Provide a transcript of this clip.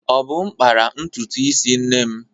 Obum kpara ntutu isi nne m.